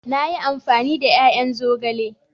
Na yi amfani da ya'yan zogale.